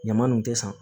Ɲama nunnu tɛ san